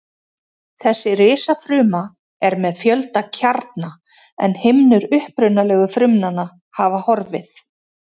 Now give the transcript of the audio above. Þessi risafruma er með fjölda kjarna en himnur upprunalegu frumnanna hafa horfið.